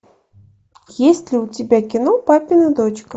есть ли у тебя кино папина дочка